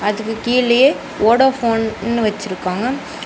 அதுக்கு கீழயே வோடோஃபோன் னு வெச்சிருக்காங்க.